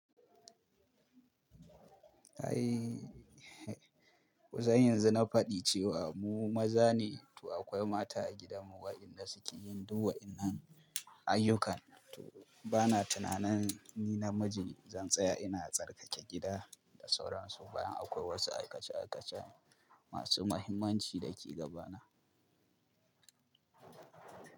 Ai, kusan yanzu na faɗi cewa mu maza ne, to akwai mata a gidanmu waɗanda suke yin duk waɗannan ayyukan. To bana tunanin ni na miji zan tsaya ina tsarkake gida da sauran su bayan akwai wasu aikace aikace masu mahimmanci da ke gabana.